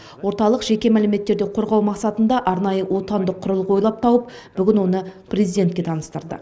орталық жеке мәліметтерді қорғау мақсатында арнайы отандық құрылғы ойлап тауып бүгін оны президентке таныстырды